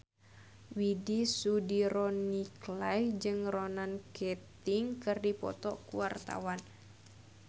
Widy Soediro Nichlany jeung Ronan Keating keur dipoto ku wartawan